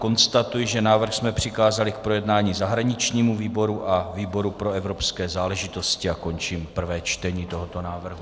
Konstatuji, že návrh jsme přikázali k projednání zahraničnímu výboru a výboru pro evropské záležitosti, a končím prvé čtení tohoto návrhu.